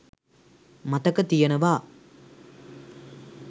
මතක තියෙනවා.